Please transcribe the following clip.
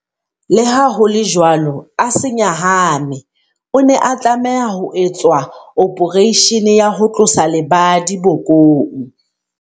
Leha ho le jwalo, a se nyahame. O ne a tlameha ho etswa ophareishene ya ho tlosa lebadi bokong.